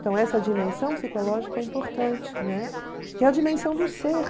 Então, essa dimensão psicológica é importante, né, que é a dimensão do ser.